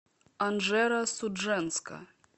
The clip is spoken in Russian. анжеро судженска